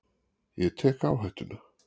Ég tek áhættuna.